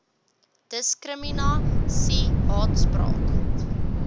diskrimina sie haatspraak